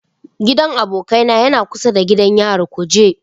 Gidan abokaina yana kusa da gidan yarin kuje.